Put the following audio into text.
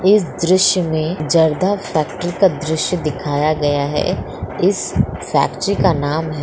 इस दृश्य में जर्दा फैक्ट्री का दृश्य दिखाया गया है इस फैक्ट्री का नाम है --